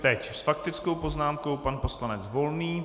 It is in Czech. Teď s faktickou poznámkou pan poslanec Volný.